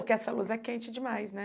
Porque essa luz é quente demais, né?